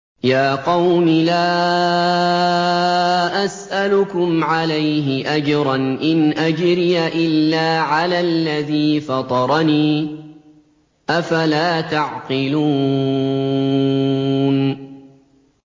يَا قَوْمِ لَا أَسْأَلُكُمْ عَلَيْهِ أَجْرًا ۖ إِنْ أَجْرِيَ إِلَّا عَلَى الَّذِي فَطَرَنِي ۚ أَفَلَا تَعْقِلُونَ